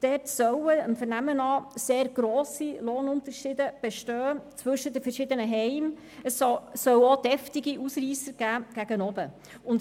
Dem Vernehmen nach soll es zwischen den verschiedenen Heimen sehr grosse Lohnunterschiede und auch heftige Ausreisser gegen oben geben.